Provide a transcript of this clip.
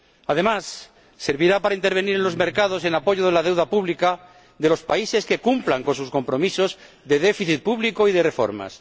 Además, servirá para intervenir en los mercados en apoyo de la deuda pública de los países que cumplan con sus compromisos de déficit público y de reformas.